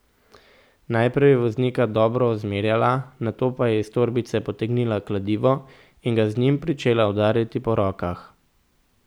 Najprej je voznika dobro ozmerjala, nato pa je iz torbice potegnila kladivo in ga z njim pričela udarjati po rokah.